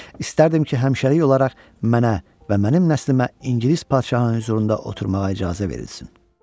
İstərdim ki, həmişəlik olaraq mənə və mənim nəslimə İngilis padşahının hüzurunda oturmağa icazə verilsin.